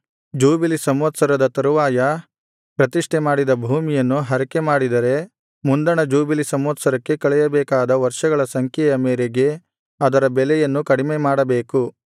jubilee ಸಂವತ್ಸರದ ತರುವಾಯ ಪ್ರತಿಷ್ಠೆ ಮಾಡಿದ ಭೂಮಿಯನ್ನು ಹರಕೆಮಾಡಿದರೆ ಮುಂದಣ ಜೂಬಿಲಿ ಸಂವತ್ಸರಕ್ಕೆ ಕಳೆಯಬೇಕಾದ ವರ್ಷಗಳ ಸಂಖ್ಯೆಯ ಮೇರೆಗೆ ಅದರ ಬೆಲೆಯನ್ನು ಕಡಿಮೆಮಾಡಬೇಕು